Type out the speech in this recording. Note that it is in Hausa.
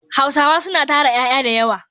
Hausawa suna tara ƴaƴa da yawa.